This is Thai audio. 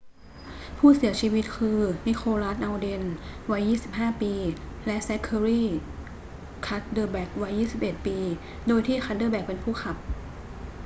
ผู้เสียชีวิตคือ นิโคลัส อัลเดน วัย 25 ปี และแซ็คเคอรี่ คัดเดอแบ็ค วัย 21 ปี โดยที่คัดเดอแบ็คเป็นผู้ขับ